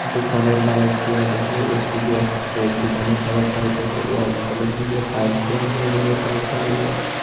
দোকানে লাইট দিয়া দেসে এ_সি দিয়া-সে দোকানে কালার হইতাছে হোয়াইট কালার নিচে টাইলস লাগা আছে উপরেও টাইলস দেখা যায়।